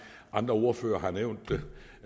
andre ordførere har nævnt